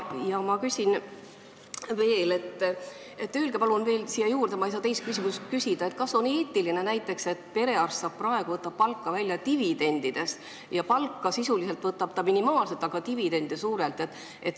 Ja ma küsin veel siia juurde, sest ma ei saa teist küsimust küsida, kas on eetiline, et perearst võtab palka dividendides, st ta võtab töötasu minimaalselt, aga dividende suurelt.